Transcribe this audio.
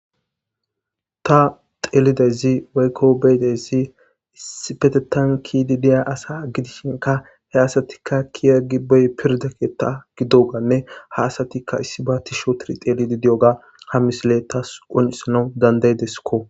Ta xelidaysi woykon beyidaysi issipeteta kezidi de'iza asa gidishinka he asatika keyida gibe pirdakiti gidogane ha asatika issiba tishi ottidi xelidi de'iyoba hamisiley qoncisanas danda'idesko.